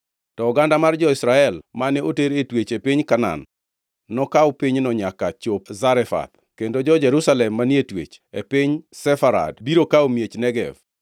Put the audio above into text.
To oganda mar jo-Israel mane oter e twech e piny Kanaan, nokaw pinyno nyaka chop Zarefath, kendo jo-Jerusalem manie twech, e piny Sefarad biro kawo miech Negev.